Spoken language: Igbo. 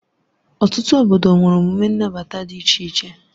Ọtụtụ obodo nwere emume nnabata dị iche iche.